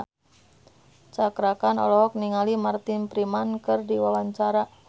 Cakra Khan olohok ningali Martin Freeman keur diwawancara